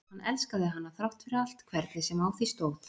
hann elskaði hana þrátt fyrir allt hvernig sem á því stóð.